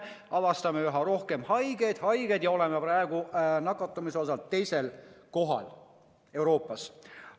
Avastame üha rohkem haigeid ja oleme praegu nakatumise poolest teisel kohal Euroopas.